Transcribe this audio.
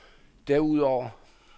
derudover